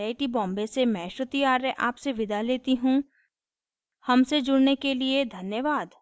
I I T Bombay से मैं श्रुति आर्य आपसे विदा लेती हूँ हमसे जुड़ने के लिए धन्यवाद